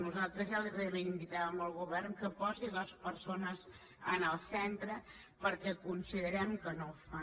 nosaltres ja reivindicàvem que el govern posés les persones en el centre perquè considerem que no ho fa